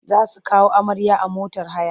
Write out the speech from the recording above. Za su kawo amarya a motar haya.